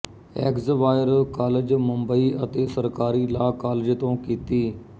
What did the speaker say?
Xavier college Mumbai ਅਤੇ ਸਰਕਾਰੀ law college ਤੋਂ ਕੀਤੀ